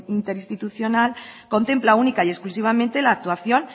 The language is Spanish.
interinstitucional contempla única y exclusivamente la actuación